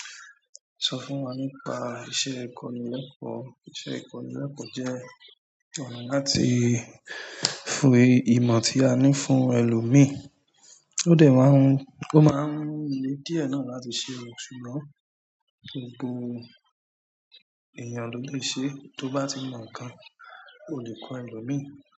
Sọ fún wa nípa iṣẹ́ ikonileko? Iṣẹ́ ikonileko jẹ́ ọ̀nà láti fún-- eyii ìmọ̀ tí a ní fún èlò míì. O de má ń. Ó máa ń le díẹ̀ náà láti ṣe ìrètí, ṣùgbọ́n gbogbo èèyàn ló lè ṣe é. Tó bá ti mọ̀ nǹkan, o lè kọ́ ẹlòmíì.